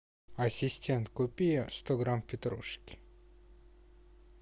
ассистент купи сто грамм петрушки